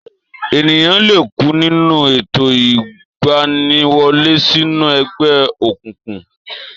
Ènìyàn lè kú nínú ètò ìgbaniwọlé sínú ẹgbẹ́ òkùnkùn